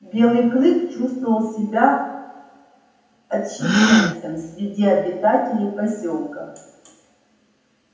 белый клык чувствовал себя отщепенцем среди обитателей посёлка